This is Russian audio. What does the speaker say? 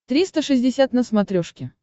триста шестьдесят на смотрешке